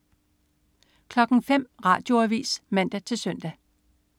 05.00 Radioavis (man-søn)